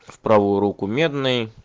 в правую руку медный